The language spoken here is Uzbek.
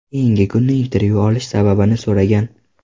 Keyingi kuni intervyu olishi sababini so‘ragan.